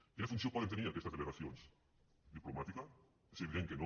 quina funció poden tenir aquestes delegacions diplomàtica és evident que no